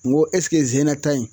Nko zeyina ta in